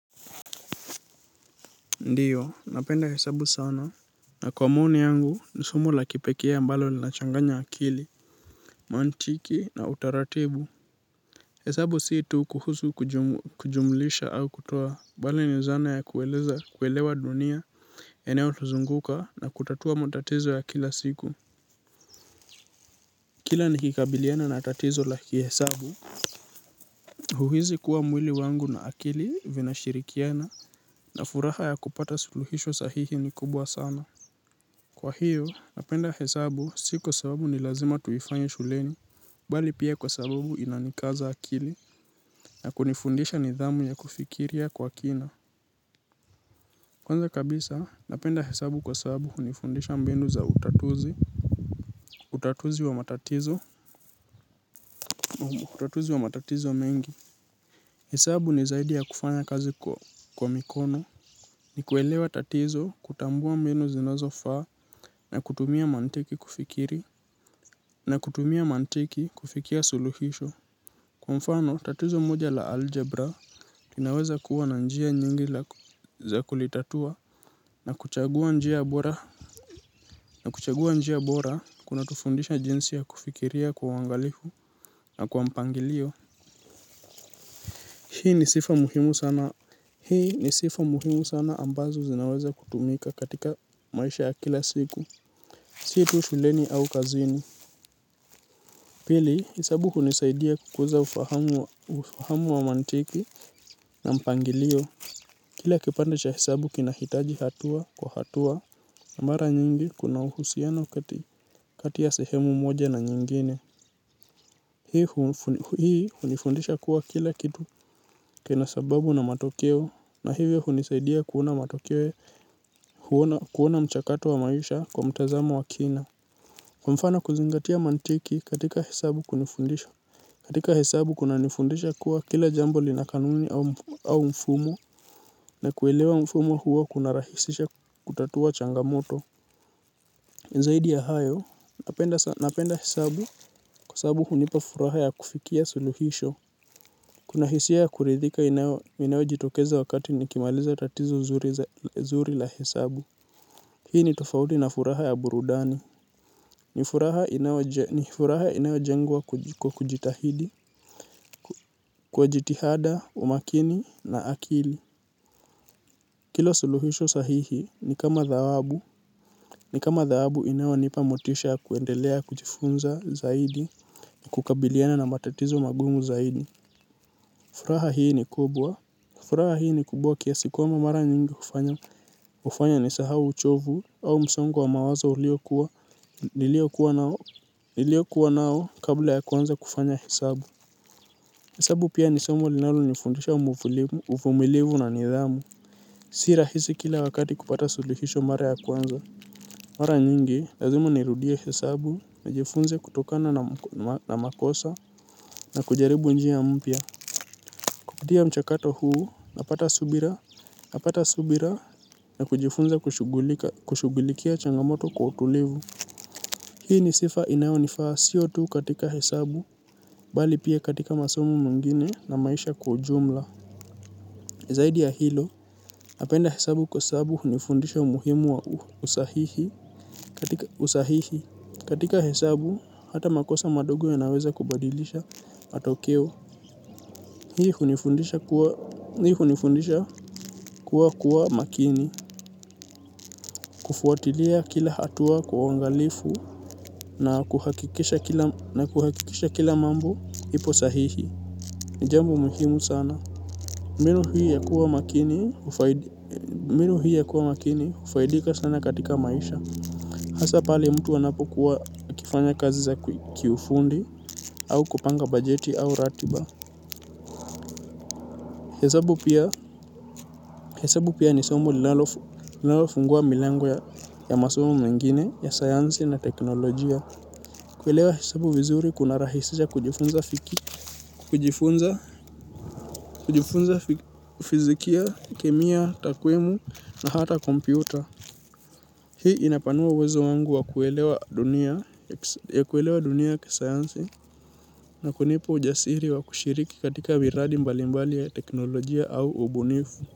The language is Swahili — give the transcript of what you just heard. Ndiyo, napenda hesabu sana. Na kwa mauni yangu, nisomo la kipekee ambalo linachanganya akili, mantiki na utaratibu. Hesabu si tu kuhusu kujumlisha au kutoa, mbali ni zana ya kuelewa dunia. Eneo tuzunguka na kutatua matatizo ya kila siku. Kila ni kikabiliana na tatizo la kihesabu. Huhizi kuwa mwili wangu na akili vina shirikiana, na furaha ya kupata suluhisho sahihi ni kubwa sana. Kwa hiyo, napenda hesabu si kwa sababu ni lazima tuifanye shuleni, bali pia kwa sababu inanikaza akili na kunifundisha nidhamu ya kufikiria kwa kina. Kwanza kabisa, napenda hesabu kwa sababu hunifundisha mbinu za utatuzi, utatuzi wa matatizo, utatuzi wa matatizo mengi. Hesabu ni zaidi ya kufanya kazi kwa mikono. Ni kuelewa tatizo kutambua menu zinazo faa na kutumia mantiki kufikiri na kutumia mantiki kufikia suluhisho. Kwa mfano tatizo moja la algebra linaweza kuwa na njia nyingi za kulitatua na kuchagua njia bora na kuchagua njia bora kuna tufundisha jinsi ya kufikiria kwa uangalihu na kwa mpangilio. Hii ni sifa muhimu sana. Hii ni sifa muhimu sana ambazo zinaweza kutumika katika maisha ya kila siku situ shuleni au kazini. Pili, hisabu hunisaidia kukuza ufahamu wa mantiki na mpangilio kila kipande cha hesabu kinahitaji hatua kwa hatua Namara nyingi kuna uhusiano kati ya sehemu moja na nyingine. Hii hunifundisha kuwa kila kitu kina sababu na matokeo na hivyo hunisaidia kuona matokeyo kuona mchakato wa maisha kwa mtazamo wa kina kwa mfano kuzingatia mantiki katika hesabu kunifundisha. Katika hesabu kuna nifundisha kuwa kila jambo linakanuni au au mfumo na kuelewa mfumo huo kunarahisisha kutatua changamoto zaidi ya hayo napenda hesabu kwa sababu hunipa furaha ya kufikia suluhisho. Kuna hisia ya kuridhika inayo jitokeza wakati nikimaliza tatizo zuri la hesabu. Hii ni tofaudi na furaha ya burudani. Ni furaha inayo jengwa kwa kujitahidi kwa jitihada, umakini na akili. Kila suluhisho sahihi ni kama thawabu. Ni kama thawabu inayo nipa motisha kuendelea kujifunza zaidi. Kukabiliana na matatizo magumu zaidi. Furaha hii ni kubwa furaha hii ni kubwa kiasi kwamba mara nyingi hufanya nisahau uchovu au msongo wa mawazo ulio kuwa nilio kuwa nao nilio kuwa nao kabla ya kuanza kufanya hesabu. Hesabu pia nisomo linalo nifundisha umuvulivu, uvumilivu na nidhamu. Si rahisi kila wakati kupata suluhisho mara ya kwanza. Mara nyingi lazima nirudie hesabu nijifunze kutokana na makosa na kujaribu njia mpya. Kupitia mchakato huu, napata subira, napata subira na kujifunza kushughulika kushugulikia changamoto kwa utulivu. Hii ni sifa inayo nifaa siyo tu katika hesabu, bali pia katika masomo mwingine na maisha kwa ujumla. Zaidi ya hilo, napenda hesabu kwa sababu hunifundisha umuhimu wa usahihi. Katika hesabu, hata makosa madogo ya naweza kubadilisha matokeo. Hunifundisha kuwa hii hunifundisha kuwa kuwa makini. Kufuatilia kila hatua kwa uangalifu na kuha na kuhakikisha kila mambo ipo sahihi. Jambo muhimu sana. Mbinu hiii ya kuwa makini hufaid. Mbinu hii ya kuwa makini hufaidika sana katika maisha. Hasa pale mtu anapokuwa akifanya kazi za kiufundi au kupanga bajeti au ratiba. Hesabu pia ni somo linalofungua milango ya masomo mengine ya sayansi na teknolojia. Kuelewa hesabu vizuri kuna rahisisha kujifunza fiki kujifunza fizikia, kemia, takwimu na hata kompyuta. Hii inapanua uwezo wangu wa kuelewa dunia ya kisayansi na kunipa ujasiri wa kushiriki katika viradi mbalimbali ya teknolojia au ubunifu.